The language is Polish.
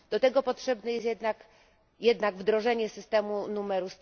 Do tego potrzebne jest jednak wdrożenie systemu numeru